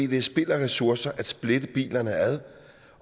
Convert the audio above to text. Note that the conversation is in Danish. det er spild af ressourcer at splitte bilerne ad